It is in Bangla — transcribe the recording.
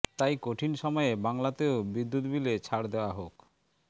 তাই কঠিন সময়ে বাংলাতেও বিদ্যুৎ বিলে ছাড় দেওয়া হোক